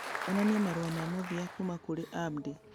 onania marũa ma mũthia kuuma kũrĩ Abdi